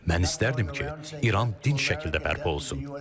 Mən istərdim ki, İran dinc şəkildə bərpa olsun.